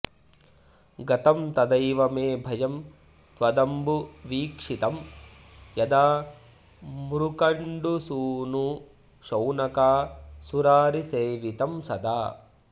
गतं तदैव मे भयं त्वदम्बु वीक्षितं यदा मृकण्डुसूनुशौनकासुरारिसेवितं सदा